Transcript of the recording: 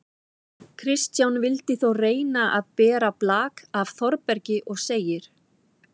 Kristján vildi þó reyna að bera blak af Þórbergi og segir: